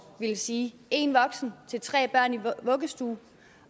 ville sige en voksen til tre børn i vuggestuen